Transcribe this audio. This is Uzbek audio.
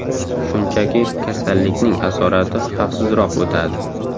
Shunchaki kasallikning asorati xavfsizroq o‘tadi.